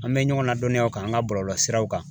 An bɛ ɲɔgɔn ladɔnniya o kan an ka bɔlɔlɔsiraw kan.